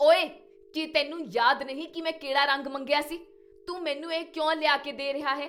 ਓਏ, ਕੀ ਤੈਨੂੰ ਯਾਦ ਨਹੀਂ ਕੀ ਮੈਂ ਕਿਹੜਾ ਰੰਗ ਮੰਗਿਆ ਸੀ? ਤੂੰ ਮੈਨੂੰ ਇਹ ਕਿਉਂ ਲਿਆ ਕੇ ਦੇ ਰਿਹਾ ਹੈ?